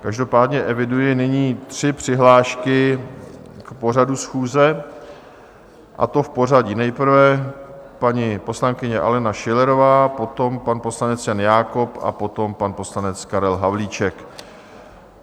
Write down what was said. Každopádně eviduji nyní tři přihlášky k pořadu schůze, a to v pořadí: nejprve paní poslankyně Alena Schillerová, potom pan poslanec Jan Jakob a potom pan poslanec Karel Havlíček.